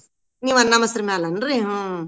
ನೀವ್ ಅನ್ನ, ಮಸ್ರ ಮ್ಯಾಲೇನ್ರಿ.